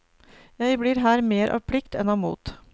Jeg blir her mer av plikt enn av mot.